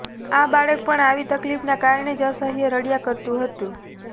આ બાળક પણ આવી તકલીફના કારણે જ અસહ્ય રડયા કરતું હતું